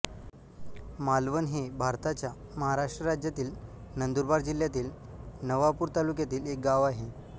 मालवण हे भारताच्या महाराष्ट्र राज्यातील नंदुरबार जिल्ह्यातील नवापूर तालुक्यातील एक गाव आहे